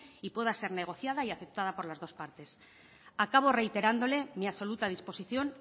y pueda ser negociada y aceptada por las dos partes acabo reiterándole mi absoluta disposición